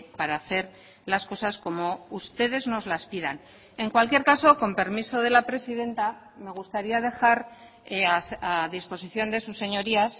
para hacer las cosas como ustedes nos las pidan en cualquier caso con permiso de la presidenta me gustaría dejar a disposición de sus señorías